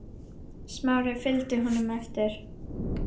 Smári fylgdi honum eftir.